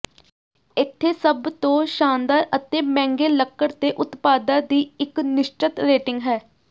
ਇੱਥੇ ਸਭ ਤੋਂ ਸ਼ਾਨਦਾਰ ਅਤੇ ਮਹਿੰਗੇ ਲੱਕੜ ਦੇ ਉਤਪਾਦਾਂ ਦੀ ਇੱਕ ਨਿਸ਼ਚਤ ਰੇਟਿੰਗ ਹੈ